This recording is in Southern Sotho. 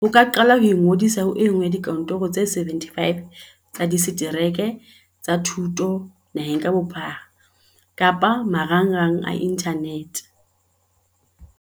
O ka qala jwang Ingodisa ho e nngwe ya dikantoro tse 75 tsa disetereke tsa thuto naheng ka bophara kapa marangrang a inthanete ho